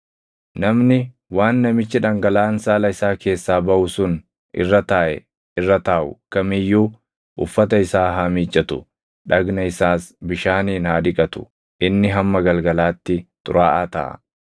Namni waan namichi dhangalaʼaan saala isaa keessaa baʼu sun irra taaʼe irra taaʼu kam iyyuu uffata isaa haa miiccatu; dhagna isaas bishaaniin haa dhiqatu; inni hamma galgalaatti xuraaʼaa taʼa.